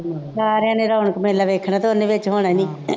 ਸਾਰਿਆਂ ਨੇ ਰੌਣਕ ਮੇਲਾ ਵੇਖਣਾ ਅਤੇ ਉਹਨੇ ਵਿੱਚ ਹੋਣਾ ਨਹੀਂ